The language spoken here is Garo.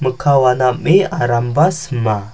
mikka wana am·e aramba sima.